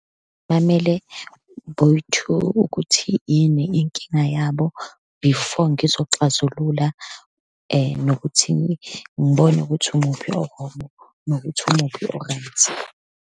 Bamele boyi-two ukuthi yini inkinga yabo before ngizoxazulula, nokuthi ngibone ukuthi umuphi o-wrong nokuthi umuphi o-right.